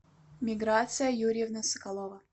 миграция юрьевна соколова